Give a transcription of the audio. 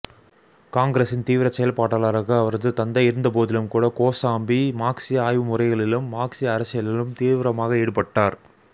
காங்கிரஸின் தீவிரச்செயல்பாட்டாளராக அவரது தந்தை இருந்தபோதிலும்கூட கோசாம்பி மார்க்ஸிய ஆய்வுமுறைகளிலும் மார்க்ஸிய அரசியலிலும் தீவிரமாக ஈடுபட்டார்